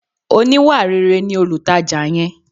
Oníwàréré ni olutaja yẹn.